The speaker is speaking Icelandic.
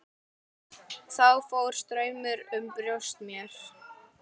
Þá fór straumur um brjóst mér.